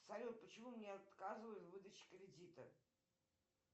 салют почему мне отказывают в выдаче кредита